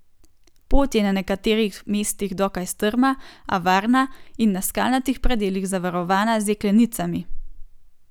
Pot je na nekaterih mestih dokaj strma, a varna in na skalnatih predelih zavarovana z jeklenicami.